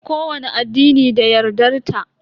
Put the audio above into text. Kowani addini da yardar ta.